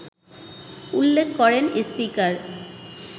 উল্লেখ করেন স্পিকার